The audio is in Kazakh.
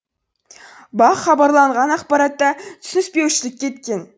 бақ хабарланған ақпаратта түсініспеушілік кеткен